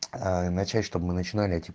ээ начать чтоб мы начинали эти